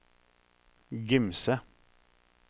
Gimse